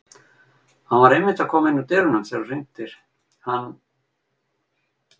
Hann var einmitt að koma inn úr dyrunum þegar þú hringdir hann